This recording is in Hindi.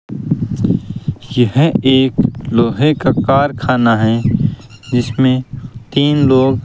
यह एक लोहे का कारखाना है जिसमें तीन लोग --